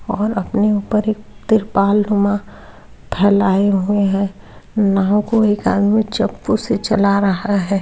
और अपने ऊपर एक तिरपाल रुमाल फैलाये हुए है नाव को एक आदमी चप्पू से चला रहा है।